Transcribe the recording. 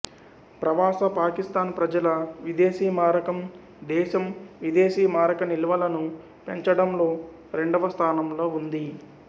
ప్రవాస పాకిస్థాన్ ప్రజల విదేశీమారకం దేశం విదేశీమారక నిల్వలను పెంచడంలో రెండవస్థానంలో ఉంది